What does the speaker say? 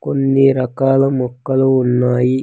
కొన్ని రకాల మొక్కలు ఉన్నాయి.